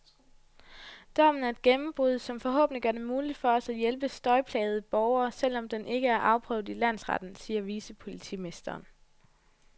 Dommen er et gennembrud, som forhåbentlig gør det muligt for os at hjælpe støjplagede borgere, selv om den ikke er afprøvet i landsretten, siger vicepolitimesteren.